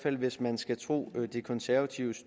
fald hvis man skal tro de konservatives